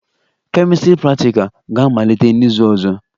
Chemistry practicals ga-amalite n'izu ọzọ